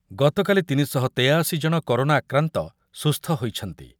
ଗତକାଲି ତିନି ଶହ ତେୟାଅଶି ଜଣ କରୋନା ଆକ୍ରାନ୍ତ ସୁସ୍ଥ ହୋଇଛନ୍ତି।